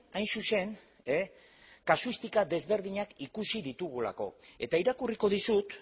hain zuzen kasuistika desberdinak ikusi ditugulako eta irakurriko dizut